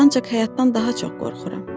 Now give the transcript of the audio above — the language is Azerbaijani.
Ancaq həyatdan daha çox qorxuram.